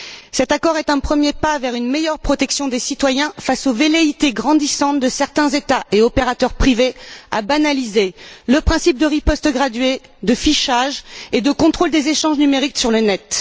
Cet accord est un premier pas vers une meilleure protection des citoyens face aux velléités grandissantes de certains États et opérateurs privés de banaliser le principe de riposte graduée, de fichage et de contrôle des échanges numériques sur le Net.